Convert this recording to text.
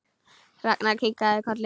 Ragnar kinkaði kolli.